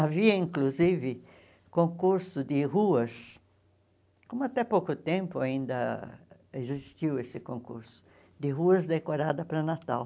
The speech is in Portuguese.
Havia, inclusive, concurso de ruas, como até pouco tempo ainda existiu esse concurso, de ruas decoradas para Natal.